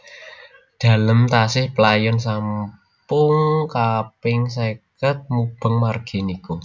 Dalem tasih playon sampung kaping seket mubeng margi niku